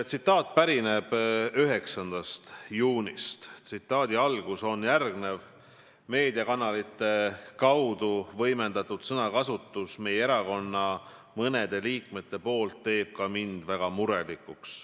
Tsitaat pärineb 9. juunist: "Meediakanalite kaudu võimendatud sõnakasutus meie erakonna mõnede liikmete poolt teeb ka mind väga murelikuks.